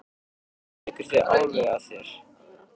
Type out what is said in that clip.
Fannst þér þetta vera bara fólk svona eins og við?